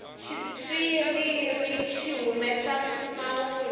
xitswiriri xi humesa mpfumawulo